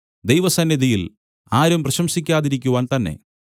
ദൈവസന്നിധിയിൽ ആരും പ്രശംസിക്കാതിരിക്കുവാൻ തന്നെ